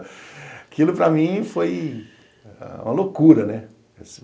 Aquilo para mim foi uma loucura, né?